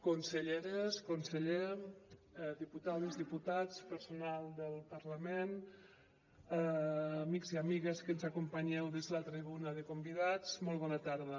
conselleres conseller diputades diputats personal del parlament amics i amigues que ens acompanyeu des de la tribuna de convidats molt bona tarda